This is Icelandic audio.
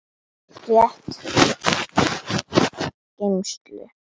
Rétt hægt að koma mesta dótinu í geymslu.